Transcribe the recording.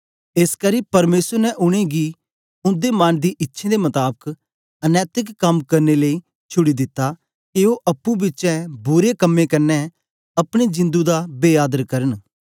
एसकरी परमेसर ने उनेंगी उन्दे मन दी इच्छें दे मताबक अनैतिक कम करन लेई छुड़ी दिता के ओ अप्पुं बिचें बुरे कम्में कन्ने अपनी जिंदु दा बे आदर करन